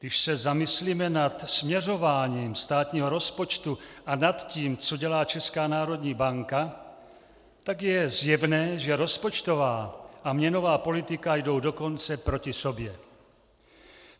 Když se zamyslíme nad směřováním státního rozpočtu a nad tím, co dělá Česká národní banka, tak je zjevné, že rozpočtová a měnová politika jdou dokonce proti sobě.